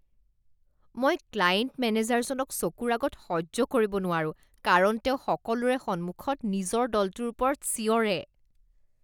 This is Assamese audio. মই ক্লায়েন্ট মেনেজাৰজনক চকুৰ আগত সহ্য কৰিব নোৱাৰো কাৰণ তেওঁ সকলোৰে সন্মুখত নিজৰ দলটোৰ ওপৰত চিঞৰে